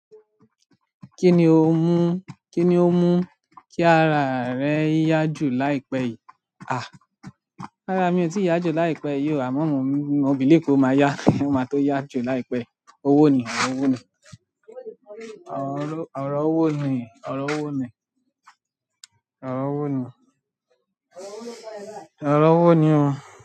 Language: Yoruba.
Ki ni o mu ki ni o mu ki ara re ya ju láìpẹ́ yìí. À, rárá mi ò tíì yá jù láìpẹ́ yìí o, àmọ́ mò ń, mò bilieve pe o máa yá, o máa tó yá jù láìpẹ́. Owó ni, ọ̀rọ̀ owó ni. Òro, ọ̀rọ̀ owó ni, ọ̀rọ̀ owó ni. Òrọ̀ owó ni, ọ̀rọ̀ owó ni o.